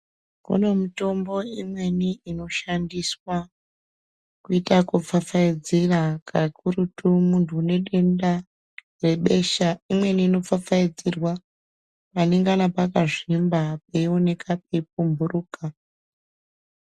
Kune mitombo imweni inoshandiswa kuita kupfapfaidzira kakurutu muntu une denda rebesha. Imweni inopfapfaidzirwa panengana pakazvimba peioneka peipumhuruka.